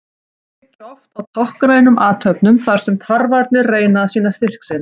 Slagsmálin byggja oft á táknrænum athöfnum þar sem tarfarnir reyna að sýna styrk sinn.